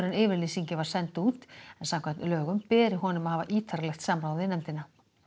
yfirlýsingin var send út en samkvæmt lögum beri honum að hafa ítarlegt samráð við nefndina